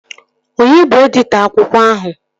Onye bụ editọ akwụkwọ ahụ?